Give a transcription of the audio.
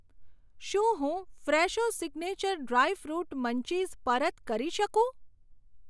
શું હું Fresho signature dry fruit munchies પરત કરી શકું?